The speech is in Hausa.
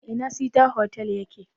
A ina sita hotal ya ke?